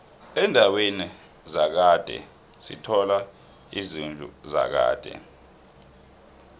endaweni zakhade sithola izidlu zakade